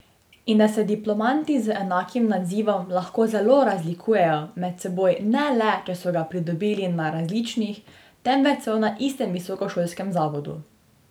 In da se diplomanti z enakim nazivom lahko zelo razlikujejo med seboj ne le, če so ga pridobili na različnih, temveč celo na istem visokošolskem zavodu.